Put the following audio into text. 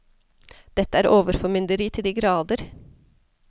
Dette er overformynderi til de grader.